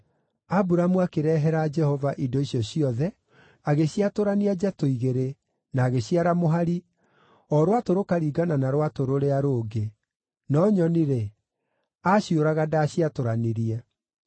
Aburamu akĩrehera Jehova indo icio ciothe, agĩciatũrania njatũ igĩrĩ, na agĩciara mũhari, o rwatũ rũkaringana na rwatũ rũrĩa rũngĩ; no nyoni-rĩ, aaciũraga ndaaciatũranirie.